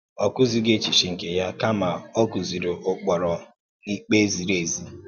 Ọ kụzìghì echiche nke ya, kama ọ kụ́zìiri ụ́kpụrụ na ìkpe ziri ezi.